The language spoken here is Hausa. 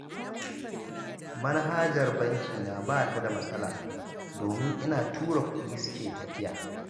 Manhajar bankina ba ta da matsala, domin ina tura kuɗi suke tafiya